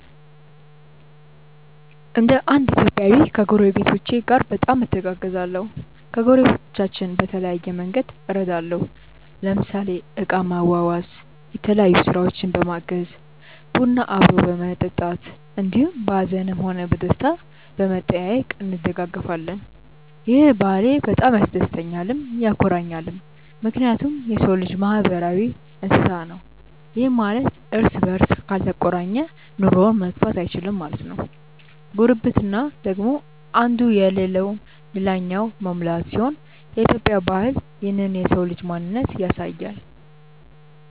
እንደ እንድ ኢትዮጵያዊ ከጐረቤቶቼ ጋር በጣም እተጋገዛለሁ። ከጐረቤቶቻችን በተለያየ መንግድ እረዳለሁ ለምሳሌ እቃ ማዋዋስ፣ የተለያዮ ስራውችን በማገዝ፣ ቡና አብሮ በመጠጣት እንዲሁም በሀዝንም ሆነ በደስታም በመጠያዬቅ እንደጋገፋለን። ይህ ባህሌ በጣም ያስደስተኛልም ያኮራኛልም ምክንያቱም የሰው ልጅ ማህበራዊ እንስሳ ነው ይህም ማለት እርስ በርስ ካልተቆራኘ ኑሮውን መግፋት እይችልም ማለት ነው። ጉርብትና ደግሞ እንዱ የለለውን ልላኛው መሙላት ሲሆን የኢትዮጵያ ባህል ይህንን የሰው ልጅ ማንነት ያሳያል።